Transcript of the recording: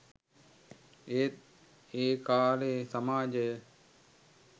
ඒත් ඒ කාලේ සමාජය